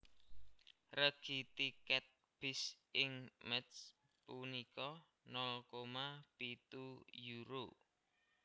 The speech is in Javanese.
Regi tiket bis ing Métz punika nol koma pitu euro